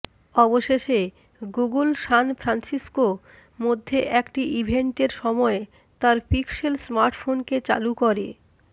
অবশেষে Google San Francisco মধ্যে একটি ইভেন্টের সময় তার পিক্সেল স্মার্টফোন কে চালু করে